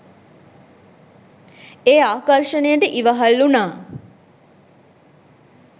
ඒ ආකර්ෂණයට ඉවහල් වුණා.